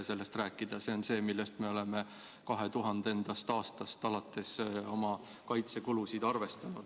See on see, kuidas me oleme 2000. aastast alates oma kaitsekulusid arvestanud.